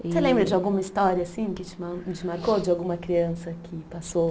E. Você lembra de alguma história assim que te man, te marcou, de alguma criança que passou